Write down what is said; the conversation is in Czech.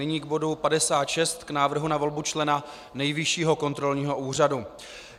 Nyní k bodu 56, k Návrhu na volbu člena Nejvyššího kontrolního úřadu.